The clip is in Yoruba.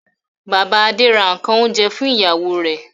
Bàbá Adé ra nǹkan oúnjẹ fún ìyàwó rẹ̀.